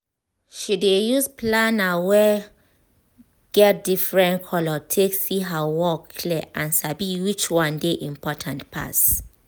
she dey use planner wey get different color take see her work clear and sabi which one dey important pass